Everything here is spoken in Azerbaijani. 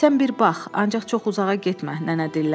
Sən bir bax, ancaq çox uzağa getmə, nənə dilləndi.